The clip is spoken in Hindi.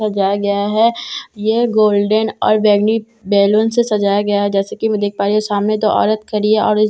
सजाया गया है यह गोल्डन और बैगनी बैलून से सजाया गया है जैसा की मैं देख पा रही हूँ सामने दो औरत खड़ी है औरत --